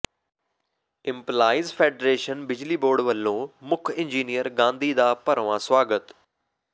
employees federation ਬਿਜਲੀ board ਵੱਲੋਂ ਮੁੱਖ ਇੰਜੀਨੀਅਰ ਗਾਂਧੀ ਦਾ ਭਰਵਾਂ ਸਵਾਗਤ